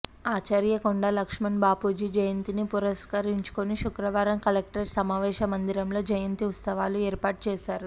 ఆచార్య కొండా లక్ష్మణ్ బాపూజీ జయంతిని పురస్కరించుకుని శుక్రవారం కలెక్టరేట్ సమావేశ మందిరంలో జయంతి ఉత్సవాలు ఏర్పాటు చేశారు